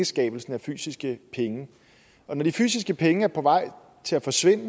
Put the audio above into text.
skabelsen af fysiske penge og når de fysiske penge er på vej til at forsvinde